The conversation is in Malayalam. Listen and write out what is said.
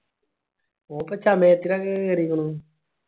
ഓർക്കേ സമയത്തിന് അങ്ങ് കേറിക്കോളും